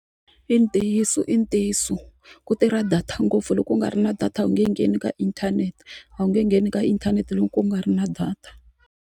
I ntiyiso i ntiyiso ku tirha data ngopfu loko u nga ri na data a wu nge ngheni ka inthanete a wu nge ngheni ka inthanete loko u nga ri na data.